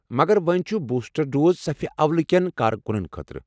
مگر ؤنۍ چھُ بوسٹر ڈوز صفہ اولہٕ كین کارکُنن خٲطرٕ۔